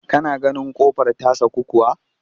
Ka na ganin ƙofar ta saku kuwa?